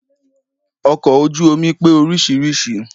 Ọkọ̀ ojú omi pé oríṣiríṣi